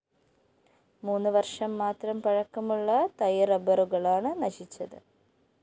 മൂന്ന് വര്‍ഷം മാത്രം പഴക്കമുള്ള തൈ റബ്ബറുകളാണ് നശിച്ചത്